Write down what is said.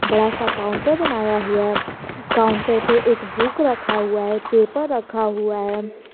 बड़ा सा काउंटर बनाया हुआ है काउंटर पे एक बुक रखा हुआ है पेपर रखा हुआ है।